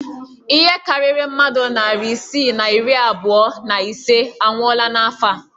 Ihe karịrị mmadụ narị isii na iri abụọ na ise anwụọla n'afọ a